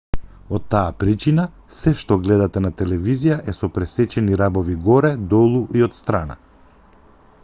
од таа причина сѐ што гледате на телевизија е со пресечени рабови горе долу и отстрана